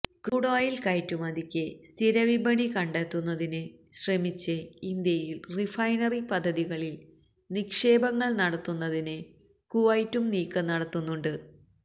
crude oil കയറ്റുമതിക്ക് സ്ഥിര വിപണി കണ്ടെത്തുന്നതിന് ശ്രമിച്ച് ഇന്ത്യയിൽ റിഫൈനറി പദ്ധതികളിൽ നിക്ഷേപങ്ങൾ നടത്തുന്നതിന് കുവൈത്തും നീക്കം നടത്തുന്നുണ്ട്